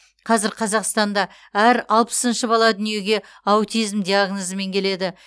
қазір қазақстанда әр алпысыншы бала дүниеге аутизм диагнозымен келеді